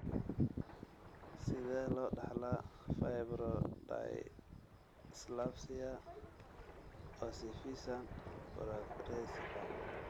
Sidee loo dhaxlaa fibrodysplasia ossificans progressiva?